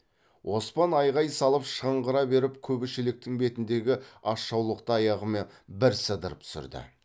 оспан айғай салып шыңғыра беріп күбі шелектің бетіндегі асжаулықты аяғымен бір сыдырып түсірді